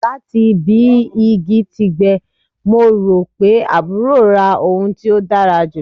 Lati bi igi ti gbẹ, Mo ro pe aburo ra ohun ti o dara julọ